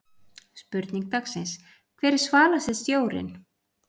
Spurning dagsins: Hver er svalasti stjórinn?